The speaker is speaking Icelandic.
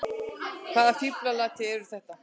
Hvaða fíflalæti eru þetta!